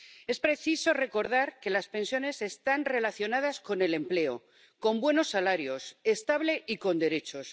Es preciso recordar que las pensiones están relacionadas con el empleo, con buenos salarios, estable y con derechos.